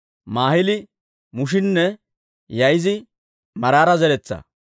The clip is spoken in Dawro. Maahili, Mushinne Yaa'ize Maraara zeretsaa.